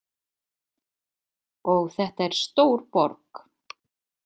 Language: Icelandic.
Og þetta er stór borg.